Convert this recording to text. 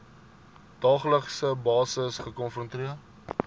daaglikse basis gekonfronteer